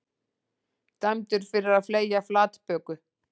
Dæmdur fyrir að fleygja flatböku